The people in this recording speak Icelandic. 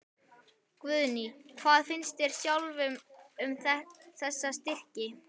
Guðný: Hvað finnst þér sjálfum um þessa styrki?